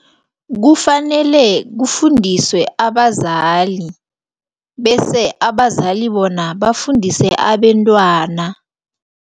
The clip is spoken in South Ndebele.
Kufanele kufundiswe abazali bese abazali bona bafundise abentwana.